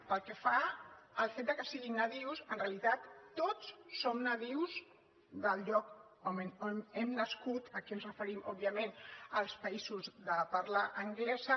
pel que fa al fet que siguin nadius en realitat tots som nadius del lloc on hem nascut aquí ens referim òbviament als països de parla anglesa